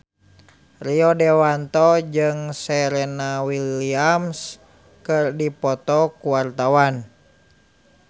Rio Dewanto jeung Serena Williams keur dipoto ku wartawan